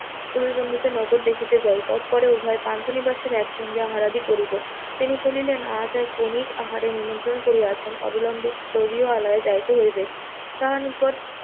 অই বন্ধুদের নগর দেখিতে যাইবার পরে উহা পান্থ বিনাশের একসঙ্গে আহারাদি করিব, তিনি বলিলেন আজ আর বণিক আহারে নিমন্ত্রণ করিয়াছেন অবিলম্বে তদীয় আলয়ে যাইতে হইবে, তার নিকট,